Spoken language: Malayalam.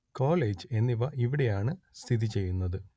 കോളേജ് എന്നിവ ഇവിടെയാണ് സ്ഥിതി ചെയ്യുന്നത്